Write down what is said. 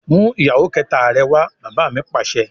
"mú ìyàwó kẹta rẹ wá!" bàbá mi Pàṣẹ.